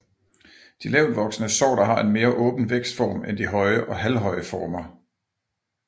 De lavtvoksende sorter har en mere åben vækstform end de høje og halvhøje former